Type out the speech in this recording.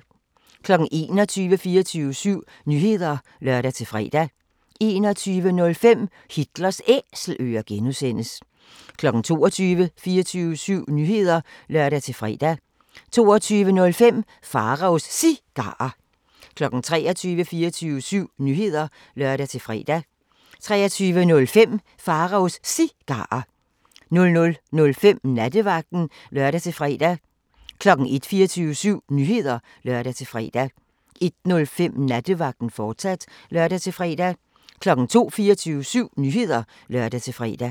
21:00: 24syv Nyheder (lør-fre) 21:05: Hitlers Æselører (G) 22:00: 24syv Nyheder (lør-fre) 22:05: Pharaos Cigarer 23:00: 24syv Nyheder (lør-fre) 23:05: Pharaos Cigarer 00:05: Nattevagten (lør-fre) 01:00: 24syv Nyheder (lør-fre) 01:05: Nattevagten, fortsat (lør-fre) 02:00: 24syv Nyheder (lør-fre)